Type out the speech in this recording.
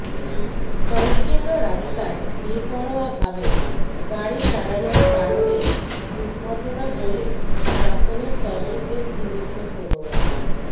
সংকীর্ণ রাস্তায় বেপরোয়াভাবে গাড়ি চালানোর কারণেই দুর্ঘটনা বলে প্রাথমিক তদন্তে পুলিশের অনুমান